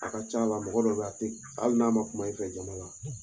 A ka ca la mɔgɔ dɔ be yen a t a hali n'a ma kuma i fɛ jama la